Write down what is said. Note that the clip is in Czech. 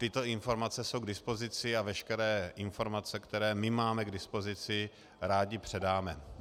Tyto informace jsou k dispozici a veškeré informace, které my máme k dispozici, rádi předáme.